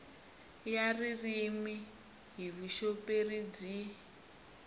ya ririmi hi vuxoperi byi